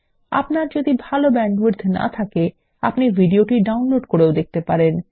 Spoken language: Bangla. আপনার যদি ভাল ব্যান্ডউইডথ না থাকে আপনি ভিডিওটি ডাউনলোড করেও দেখতে পারেন